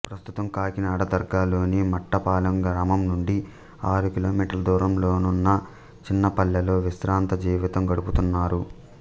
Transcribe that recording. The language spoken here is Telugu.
ప్రస్తుతం కాకినాడ దగ్గర్లోని మట్లపాలెం గ్రామం నుండి ఆరు కిలోమీటర్ల దూరంలోనున్న చిన్నపల్లెలో విశ్రాంత జీవితం గడుపుతున్నారు